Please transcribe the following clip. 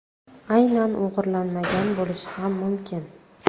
Aynan o‘g‘irlanmagan bo‘lishi ham mumkin.